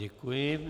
Děkuji.